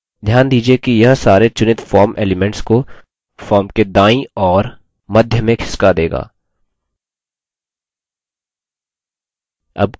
ध्यान दीजिये कि यह सारे चुनित form elements को form के दायीं और मध्य में खिसका देगा